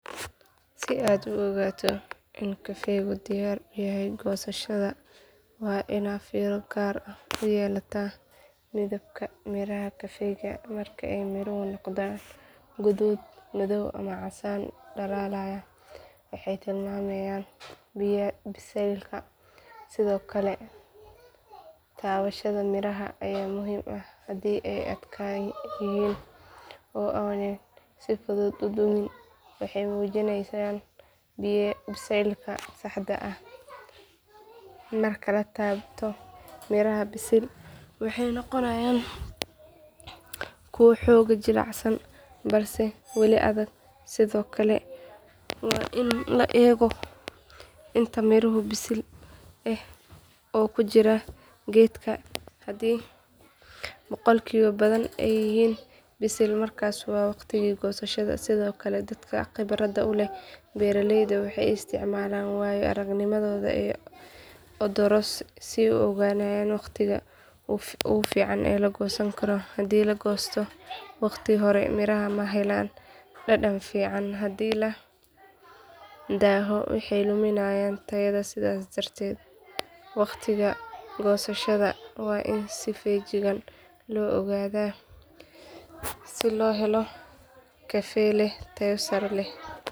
Si aad u ogaato in kafeegu diyaar u yahay goosashada waa inaad fiiro gaar ah u yeelataa midabka miraha kafeega marka ay miruhu noqdaan guduud madow ama casaan dhalaalaya waxay tilmaamayaan bisaylka sidoo kale taabashada miraha ayaa muhiim ah haddii ay adkaan yihiin oo aanay si fudud u dumin waxay muujinayaan bisaylka saxda ah marka la taabto miraha bisil waxay noqonayaan kuwo xoogaa jilicsan balse weli adag sidoo kale waa in la eego inta miraha bisil ah ee ku jira geedka haddii boqolkiiba badan ay yihiin bisil markaas waa waqtigii goosashada sidoo kale dadka khibradda u leh beeralayda waxay isticmaalaan waayo aragnimadooda iyo odoros si ay u go'aamiyaan waqtiga ugu fiican ee la goosan karo haddii la goosto wakhti hore miraha ma helaan dhadhan fiican haddii la daaho waxay lumiyaan tayada sidaas darteed waqtiga goosashada waa in si feejigan loo ogaadaa si loo helo kafe leh tayo sare leh.